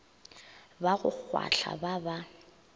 ba go kgwahla ba ba